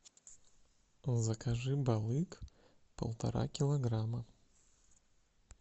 закажи балык полтора килограмма